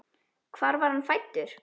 Hvar var hann fæddur?